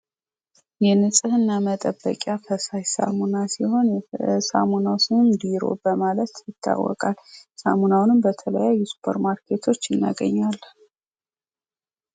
የንጽሕና መጠበቂያ ፈሳሽ ሳሙና ሲሆን የሳሙናው ስም ድሮ በማለት ይታወቃል። ሳሙናውንም በተሐያዩ ሱፐር ማርኬቶች እናገኘዋለን።